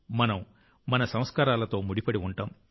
మనం మన సంస్కారాలతో ముడిపడి ఉంటాం